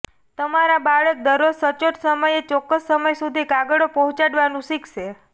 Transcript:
તમારા બાળક દરરોજ સચોટ સમયે ચોક્કસ સમય સુધી કાગળો પહોંચાડવાનું શીખશે